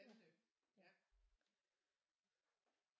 Anne ja